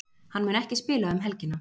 Hann mun ekki spila um helgina.